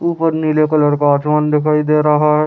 ऊपर नीला कलर का आसमान दिखाई दे रहा है।